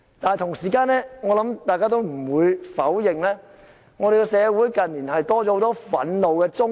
但同時，我想大家也不會否認，香港社會近年多了很多憤怒的中年。